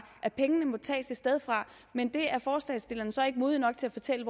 at pengene må tages et sted fra men det er forslagsstillerne så ikke modige nok til at fortælle